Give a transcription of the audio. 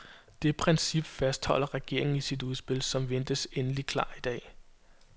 Det princip fastholder regeringen i sit udspil, som ventes endelig klar i dag.